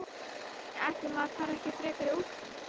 Nei, ætli maður fari ekki frekar í úlpu.